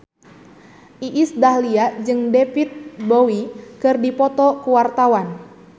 Iis Dahlia jeung David Bowie keur dipoto ku wartawan